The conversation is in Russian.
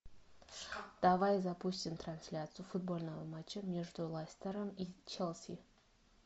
давай запустим трансляцию футбольного матча между лестером и челси